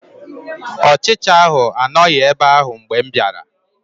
Ọchicha ahụ anọghị ebe ahụ mgbe m bịara